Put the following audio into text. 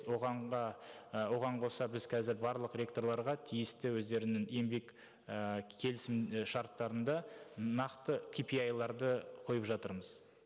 оған і оған қоса біз қазір барлық ректорларға тиісті өздерінің еңбек і келісімшарттарында нақты кипиайларды қойып жатырмыз